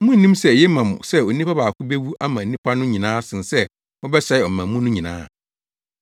Munnim sɛ eye ma mo sɛ onipa baako bewu ama nnipa no nyinaa sen sɛ wɔbɛsɛe ɔman mu no nyinaa?”